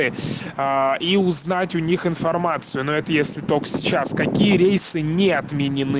и узнать у них информацию но это если только сейчас какие рейсы не отменены